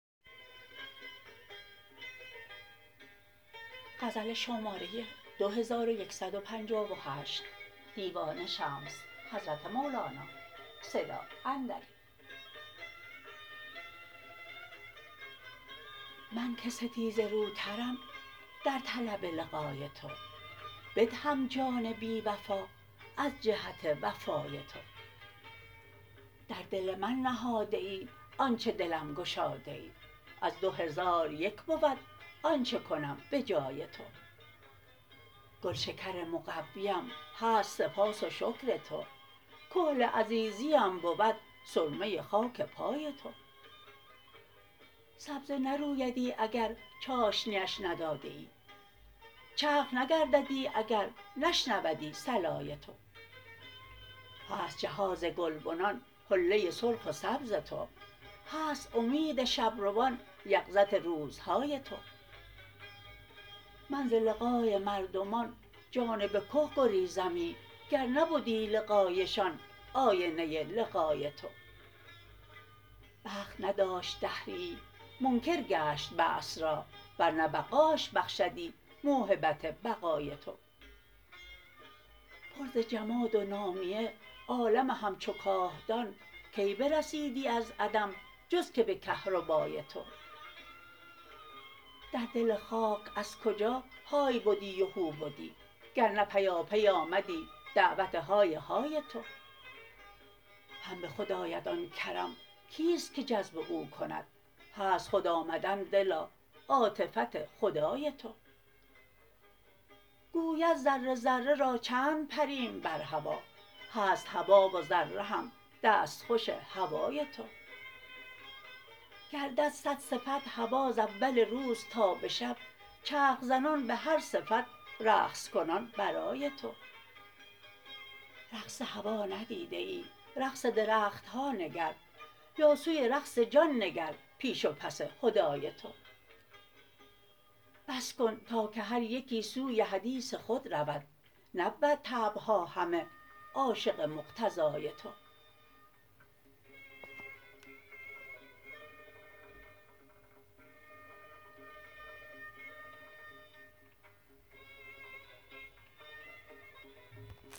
من که ستیزه روترم در طلب لقای تو بدهم جان بی وفا از جهت وفای تو در دل من نهاده ای آنچ دلم گشاده ای از دو هزار یک بود آنچ کنم به جای تو گلشکر مقویم هست سپاس و شکر تو کحل عزیزیم بود سرمه خاک پای تو سبزه نرویدی اگر چاشنیش ندادیی چرخ نگرددی اگر نشنودی صلای تو هست جهاز گلبنان حله سرخ و سبز تو هست امید شب روان یقظت روزهای تو من ز لقای مردمان جانب که گریزمی گر نبدی لقایشان آینه لقای تو بخت نداشت دهریی منکر گشت بعث را ور نه بقاش بخشدی موهبت بقای تو پر ز جهاد و نامیه عالم همچو کاهدان کی برسیدی از عدم جز که به کهربای تو در دل خاک از کجا های بدی و هو بدی گر نه پیاپی آمدی دعوت های های تو هم به خود آید آن کرم کیست که جذب او کند هست خود آمدن دلا عاطفت خدای تو گوید ذره ذره را چند پریم بر هوا هست هوا و ذره هم دستخوش هوای تو گردد صد صفت هوا ز اول روز تا به شب چرخ زنان به هر صفت رقص کنان برای تو رقص هوا ندیده ای رقص درخت ها نگر یا سوی رقص جان نگر پیش و پس حدای تو بس کن تا که هر یکی سوی حدیث خود رود نبود طبع ها همه عاشق مقتضای تو